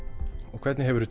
og hvernig hefur þú